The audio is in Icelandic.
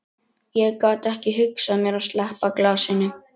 Ég gat ekki hugsað mér að sleppa glasinu.